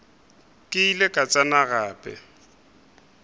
ke ile ka tsena gape